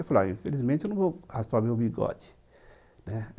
Eu falei, infelizmente eu não vou raspar o meu bigode.